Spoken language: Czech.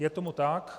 Je tomu tak.